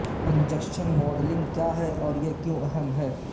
injection moulding کیا ہے اور یہ کیوں اہم ہے